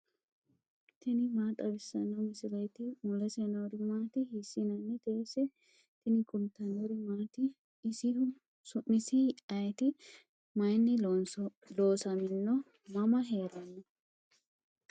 tini maa xawissanno misileeti ? mulese noori maati ? hiissinannite ise ? tini kultannori maati? isihu su'misi ayiti? Mayiinni loosamminno? mama heeranno?